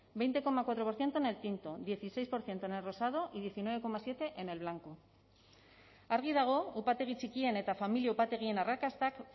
veinte coma cuatro por ciento en el tinto dieciséis por ciento en el rosado y diecinueve coma siete en el blanco argi dago upategi txikien eta familia upategien arrakastak